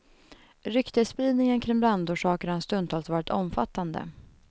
Ryktesspridningen kring brandorsaken har stundtals varit omfattande.